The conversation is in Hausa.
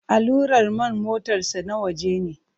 Allurar man motarsa ​​na waje ne.